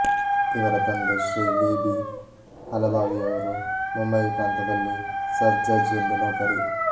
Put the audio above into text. ಇವರ ತಂದೆ Shri V B ಹಾಲಭಾವಿಯವರು ಮುಂಬಯಿ ಪ್ರಾಂತದಲ್ಲಿ ಸಬ್ ಜಜ್ ಎಂದು ನೌಕರಿ